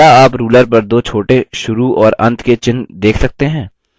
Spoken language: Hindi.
क्या आप ruler पर दो छोटे शुरू और अंत के चिन्ह देख सकते हैं